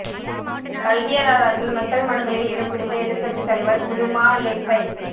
கல்வியலாளர்கள் மக்கள் மனங்களில் இடம் பிடித்த எதிர்க்கட்சித் தலைவர் உதுமாலெப்பை